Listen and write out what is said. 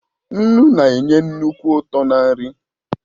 Nnu na-enye nnukwu ụtọ ná nri